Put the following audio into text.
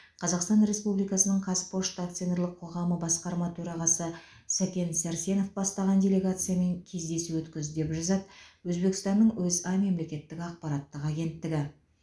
қазақстан республикасының қазпошта акционерлік қоғамы басқарма төрағасы сәкен сәрсенов бастаған делегациямен кездесу өткізді деп жазады өзбекстанның өза мемлекеттік ақпараттық агенттігі